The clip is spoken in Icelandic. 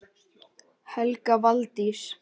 Helga Valdís.